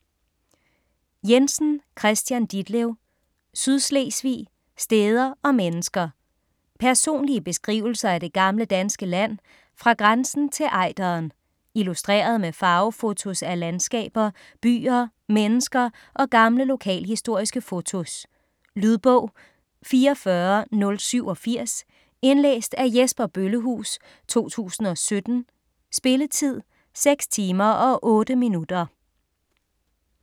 Jensen, Kristian Ditlev: Sydslesvig: steder og mennesker Personlige beskrivelser af det gamle danske land, fra grænsen til Ejderen. Illustreret med farvefotos af landskaber, byer, mennesker og gamle lokalhistoriske fotos. Lydbog 44087 Indlæst af Jesper Bøllehuus, 2017. Spilletid: 6 timer, 8 minutter.